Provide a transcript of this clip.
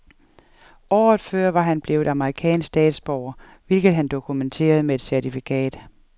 Året før var han blevet amerikansk statsborger, hvilket han dokumenterede med et certifikat.